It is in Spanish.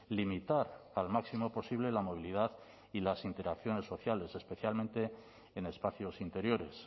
limitar al máximo posible la movilidad y las interacciones sociales especialmente en espacios interiores